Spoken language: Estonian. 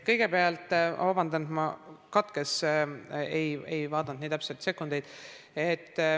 Kõigepealt vabandust, et vastus katkes, ma ei vaadanud nii täpselt sekundeid.